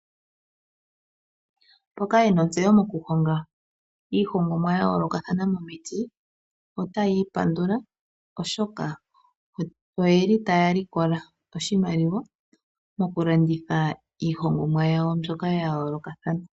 Mboka yena ontseyo mokuhonga iihongomwa ya yoolokathana momiti otaya ipandula oshoka oyeli taya likola oshimaliwa mokulanditha iihongomwa yawo mbyoka ya yoolokathana.